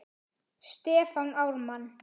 Stefán Ármann.